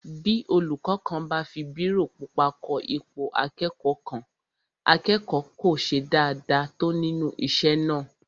Bí olúkọ́ kan bá fi bírò pupa kọ ipò akẹ́kọ̀ọ́ kan, akẹ́kọ̀ọ́ kò ṣe dáadáa tó nínú isé náà